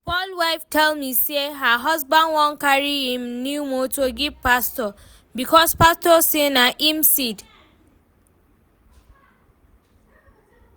Paul wife tell me say her husband wan carry im new motor give pastor, because pastor say na im seed